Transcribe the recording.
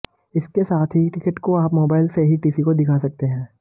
इसके साथ ही इस टिकट को आप मोबाइल से ही टीसी को दिखा सकते है